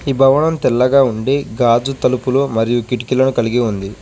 ఈ భవనం తెల్లగా ఉండి గాజు తలుపులు మరియు కిటికీలను కలిగి ఉంది.